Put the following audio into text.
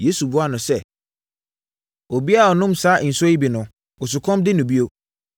Yesu buaa no sɛ, “Obiara a ɔnom saa nsuo yi bi no, osukɔm de no bio,